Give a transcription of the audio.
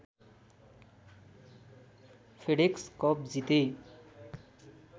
FedEx cup जिते